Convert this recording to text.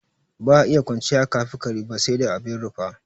Ba iya kwanciya aka fi kare ba sai dai abin rufa.